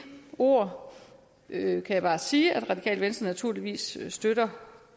ord kan jeg bare sige at det radikale venstre naturligvis støtter